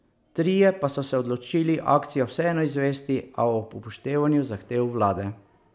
Trije pa so se odločili akcijo vseeno izvesti, a ob upoštevanju zahtev vlade.